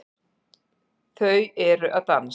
Þau eru að dansa